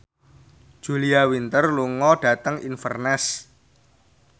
Julia Winter lunga dhateng Inverness